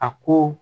A ko